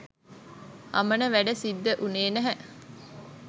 අමන වැඩ සිද්ද උනේ නැහැ